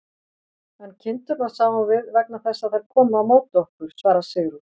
En kindurnar sáum við, vegna þess að þær komu á móti okkur, svarar Sigrún.